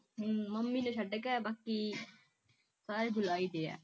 ਹਮ mummy ਨੂੰ ਛੱਡ ਕੇ ਬਾਕੀ ਸਾਰੇ ਜੁਲਾਈ ਦੇ ਆ